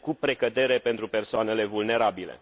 cu precădere pentru persoanele vulnerabile.